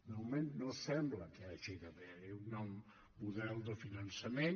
de moment no sembla que hi hagi d’haver un nou model de finançament